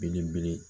Belebele